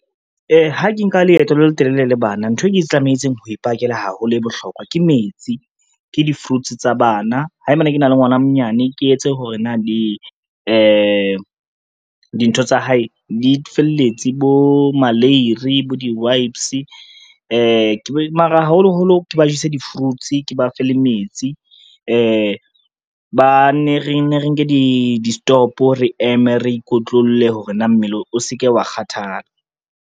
Ha ke nka leeto le letelele le bana, nthwe ke tlametseng ho ipakela haholo e bohlokwa ke metsi, ke di-fruits tsa bana, haebane ke na le ngwana a monyane, ke etse hore na le dintho tsa hae di felletse bo maleiri, bo di-wipes mara haholoholo ke ba jese di-fruits, ke ba fe le metsi re nne re nke di-stop re eme re ikotlolle hore na mmele o se ke wa kgathala.